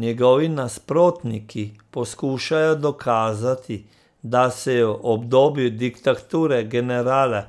Njegovi nasprotniki poskušajo dokazati, da se je v obdobju diktature generala